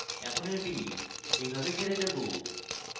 এখন এটি এইভাবে ছেড়ে দেবো